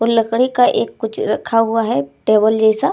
और लकड़ी का एक कुछ रखा हुआ है टेबल जैसा।